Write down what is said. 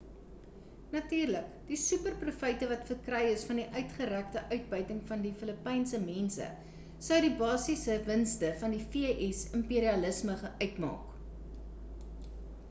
natuurlik die super profyte wat verkry is van die uitgerekte uitbuiting van die filipynse mense sou die basisiese winste van die v.s. imperialisme uitmaak